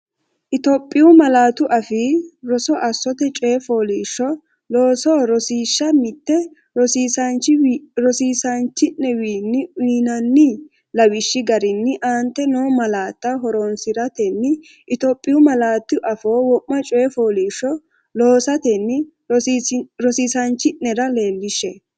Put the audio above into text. Itophiyu Malaatu Afii Roso Assote Coyi fooliishsho loosa Rosiishsha Mite Rosiisaanchi’newiinni uyinanni’ne lawishshi garinni aante noo malaatta horoonsi’ratenni Itophiyu malaatu afiinni wo’ma coyi fooliishsho loo- satenni rosiisaanchi’nera leellishshe.